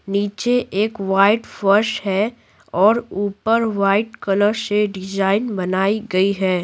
नीचे एक वाइट फर्श है और ऊपर वाइट कलर से डिज़ाइन बनाई गई है।